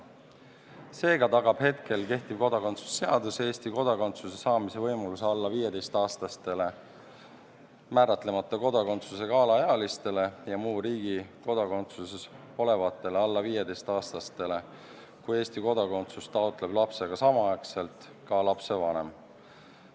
Seega tagab kehtiv kodakondsuse seadus Eesti kodakondsuse saamise võimaluse alla 15-aastasele määratlemata kodakondsusega alaealisele ja muu riigi kodakondsuses olevale alla 15-aastasele alaealisele, kui Eesti kodakondsust taotleb lapsega samaaegselt ka lapsevanem.